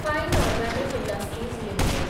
fine organic industries limited